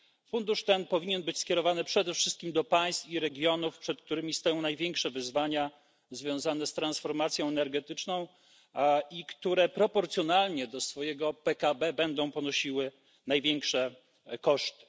Fundusz ten powinien być skierowany przede wszystkim do państw i regionów, przed którymi stoją największe wyzwania związane z transformacją energetyczną i które proporcjonalnie do swojego PKB będą ponosiły największe koszty.